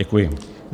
Děkuji.